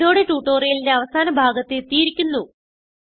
ഇതോടെ ട്യൂട്ടോറിയലിന്റെ അവസാന ഭാഗത്ത് എത്തിയിരിക്കുന്നു